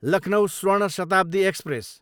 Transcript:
Lucknow Swarna Shatabdi express